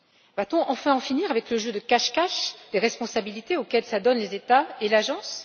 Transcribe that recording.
Va t on enfin en finir avec le jeu de cache cache des responsabilités auquel s'adonnent les États et l'agence?